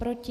Proti?